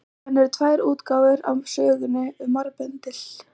Síðan eru tvær útgáfur af sögunni um marbendil.